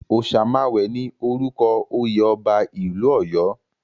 Òsemàwé ni orúkọ oyè ọba ìlú Ọ̀yọ́.